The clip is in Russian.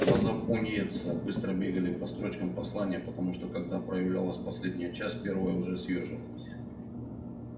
глаза пониетса быстро бегали по строчкам послания потому что когда проявлялась последняя часть первая уже съёживалась